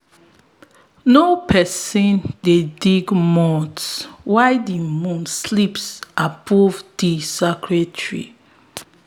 no person dey digs mounds while di moon sleeps above di sacred tree